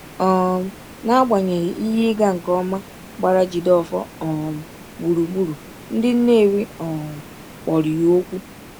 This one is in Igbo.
um N’agbanyeghị ihe ịga nke ọma gbara Jideofor um gburugburu, ndị Nnewi um kpọrọ ya okwu.